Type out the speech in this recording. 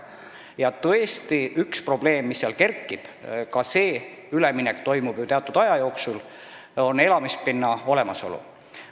Ja tõesti on seal üks probleem, mis kerkib – see üleminek toimub ju teatud aja jooksul –, elamispinna olemasolu.